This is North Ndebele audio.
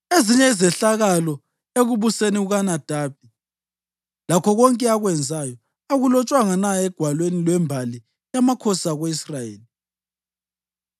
Ezinye izehlakalo ekubuseni kukaNadabi, lakho konke akwenzayo, akulotshwanga na egwalweni lwembali yamakhosi ako-Israyeli?